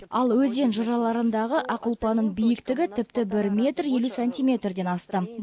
ал өзен жыраларындағы ақ ұлпаның биіктігі тіпті бір метр елу сантиметрден асты